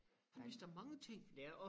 Han vidste da mange ting